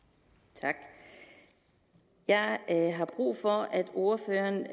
tak jeg har brug for at ordføreren